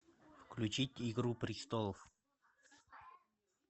включить игру престолов